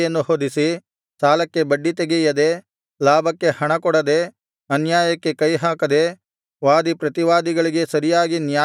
ಸಾಲಕ್ಕೆ ಬಡ್ಡಿತೆಗೆಯದೆ ಲಾಭಕ್ಕೆ ಹಣಕೊಡದೆ ಅನ್ಯಾಯಕ್ಕೆ ಕೈಹಾಕದೆ ವಾದಿ ಪ್ರತಿವಾದಿಗಳಿಗೆ ಸರಿಯಾಗಿ ನ್ಯಾಯತೀರಿಸಿ